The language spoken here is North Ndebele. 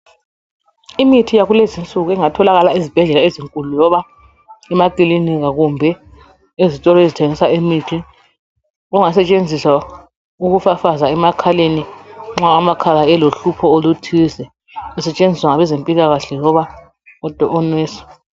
Imithi yakulezinsuku engatholakala ezibhedlela ezinkulu loba emakilinika kumbe ezitolo ezithengisa imithi. Kungasetshenziswa ukufafaza emakhaleni nxa amakhala elohlupho oluthize, kusetshenziswa ngabezempilakahle loba onesi.